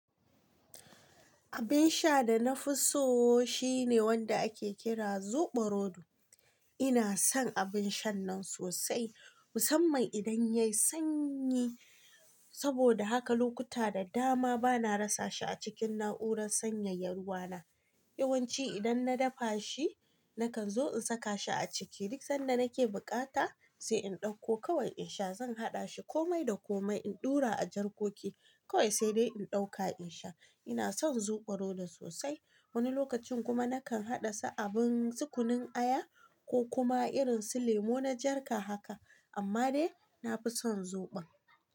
Abin sha da na fi so shine wanda ake kira Zobo rodo. Ina son abin shan nan sosai, musamman idan yayi sanyi. Saboda haka lokuta da dama bana rasa shi a cikin na'urar sanyaya ruwa na. Yawanci idan na dafa shi, nakan zo in saka shi a ciki. Duk sanda nake bukata sai in ɗauko kawan in sha. Zan haɗa shi komai da komai, in ɗura a jarkoki kawai sai dai in ɗauka in sha. Ina son zobo rodo sosai. Wani lokacin kuma nakan haɗa su abun tukunun aya ko kuma irin su lemo na jarka haka, amma dai na fi son zoɓon.